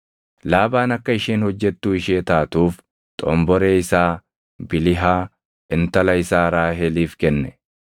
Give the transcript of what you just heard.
Laabaan akka isheen hojjettuu ishee taatuuf xomboree isaa Bilihaa, intala isaa Raaheliif kenne.